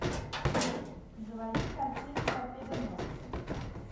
заводи картину торпедоносцы